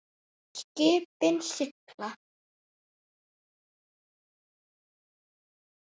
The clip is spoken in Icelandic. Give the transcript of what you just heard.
Skipin sigla.